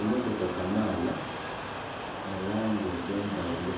Emmotoka Kamaala mu langi edh'endhaghulo